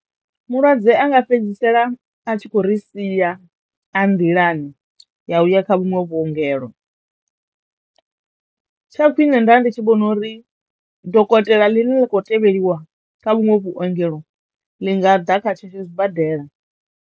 Mulwadze anga fhedzisela a tshi khou ri sia a nḓilani ya uya kha vhunwe vhuongelo. Tsha khwine nda ndi tshi vhona uri dokotela ḽine ḽa kho tevheliwa kha vhunwe vhuongelo ḽi nga ḓa kha tshetsho sibadela.